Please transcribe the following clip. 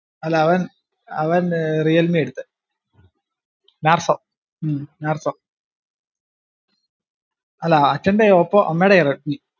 അല്ല അവൻ ഏർ അവൻ ഏർ റീയൽമിആ എടുത്തേ നാർസോ ഉം നാർസോ അല്ല അച്ഛന്റെ ഓപ്പോ അമ്മേടെയാ റെഡ്‌മി